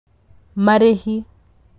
Marĩhi: